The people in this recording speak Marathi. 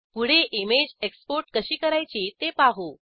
पुढे इमेज एक्सपोर्ट कशी करायची ते पाहू